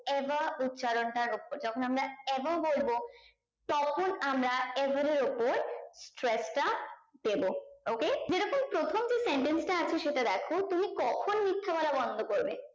ever উচ্চারণ টার উপর যখন আমরা ever বলবো তখন আমরা ever এর উপর stretch টা দেব okay যে রকম প্রথম দিন sentence টা আছে সেটা দেখো তুমি কখন মিথ্যে বলা বন্দ করবে